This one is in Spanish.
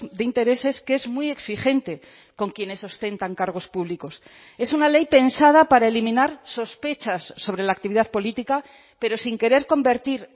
de intereses que es muy exigente con quienes ostentan cargos públicos es una ley pensada para eliminar sospechas sobre la actividad política pero sin querer convertir